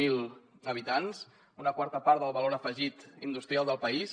zero habitants una quarta part del valor afegit industrial del país